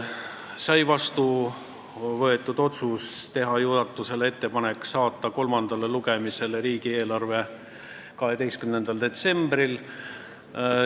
Võtsime vastu otsuse teha juhatusele ettepanek saata riigieelarve eelnõu kolmandale lugemisele 12. detsembriks.